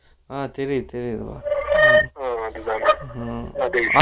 ஆஹா தெரியுது Noise